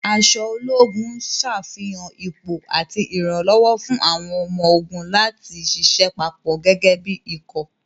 Aṣọ ológun ṣàfihàn ipò àti ìrànlọ́wọ́ fún àwọn ọmọ-ogun láti ṣiṣẹ́ papọ̀ gẹ́gẹ́ bí ikọ̀.